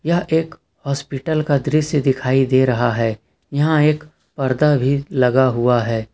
यह एक हॉस्पिटल का दृश्य दिखाई दे रहा है यहां एक पर्दा भी लगा हुआ है।